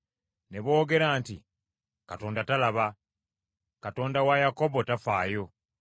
Ne boogera nti, “Katonda talaba; Katonda wa Yakobo tafaayo.”